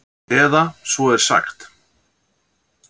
Eða svo er sagt.